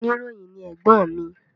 Oníròyìn ni ẹ̀gbọ́n mi